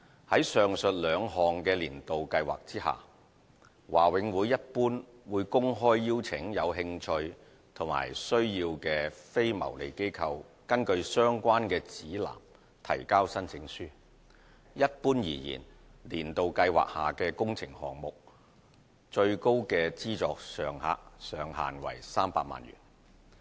在上述兩項"年度計劃"下，華永會一般會公開邀請有興趣和需要的非牟利機構根據相關的指南提交申請書。一般而言，"年度計劃"下的工程項目的最高資助上限為300萬元。